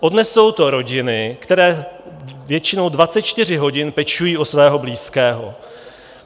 Odnesou to rodiny, které většinou 24 hodin pečují o svého blízkého.